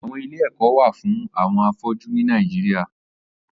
Àwọn ilé ẹkọ wà fùn awọn áfọjù ni Nàijiriá